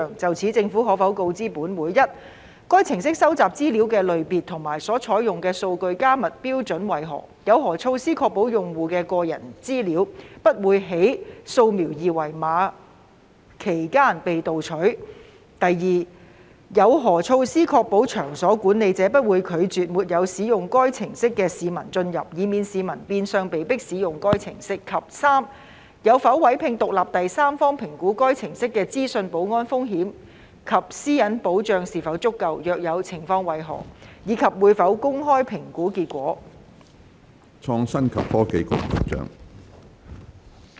就此，政府可否告知本會：一該程式收集資料的類別和所採用的數據加密標準為何；有何措施確保用戶的個人資料，不會在掃描二維碼期間被竊取；二有何措施確保場所管理者不會拒絕沒有使用該程式的市民進入，以免市民變相被迫使用該程式；及三有否委聘獨立第三方評估該程式的資訊保安風險及私隱保障是否足夠；若有，詳情為何，以及會否公開評估結果？